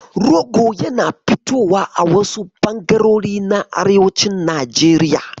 Rogo yana fitowa a wasu ɓangarori na arewacin Najeriya.